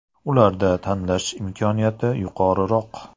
Ularda tanlash imkoniyati yuqoriroq.